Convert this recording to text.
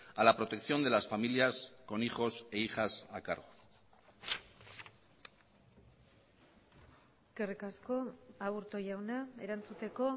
a la protección de las familias con hijos e hijas a cargo eskerrik asko aburto jauna erantzuteko